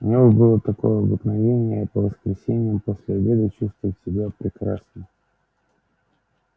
у него было такое обыкновение по воскресеньям после обеда чувствовать себя прекрасно